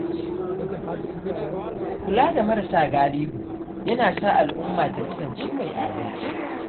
Kula da marasa galihu yana sa al’umma ta kasance mai adalci.